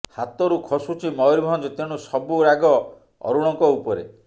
ହାତରୁ ଖସୁଛି ମୟୁରଭଞ୍ଜ ତେଣୁ ସବୁ ରାଗ ଅରୁଣଙ୍କ ଉପରେ